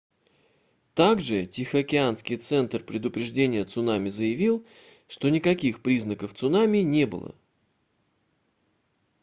также тихоокеанский центр предупреждения цунами заявил что никаких признаков цунами не было